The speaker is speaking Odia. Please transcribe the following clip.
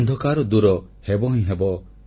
ଅନ୍ଧକାର ଦୂରହେବ ହିଁ ହେବ